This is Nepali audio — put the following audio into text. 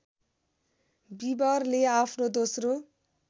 बीबरले आफ्नो दोस्रो